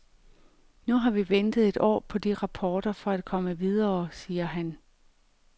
Nu har vi ventet et år på de rapporter for at komme videre, siger han.